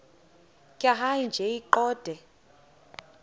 tjhaya nje iqondee